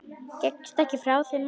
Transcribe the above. Gekkstu ekki frá þeim málum?